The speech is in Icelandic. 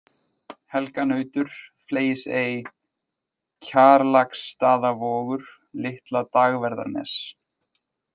Helganautur, Fleygisey, Kjarlaksstaðavogur, Litla-Dagverðarnes